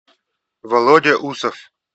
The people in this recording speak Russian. володя усов